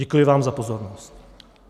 Děkuji vám za pozornost.